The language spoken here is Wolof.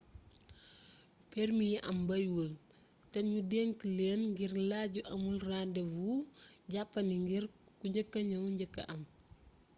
permi yi am bariwul te nu denc leen ngir laaj yu amul rendez vous jàppandi ngir ku njëkka ñëw njëkka am